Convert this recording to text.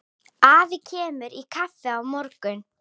Afi kemur í kaffi á morgun.